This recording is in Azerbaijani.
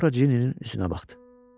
Sonra Cinninin üstünə baxdı.